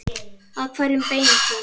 Að hverjum beinist hún?